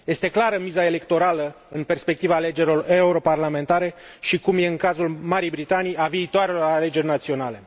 Este clară miza electorală, în perspectiva alegerilor europarlamentare și, cum e în cazul Marii Britanii, a viitoarelor alegeri naționale.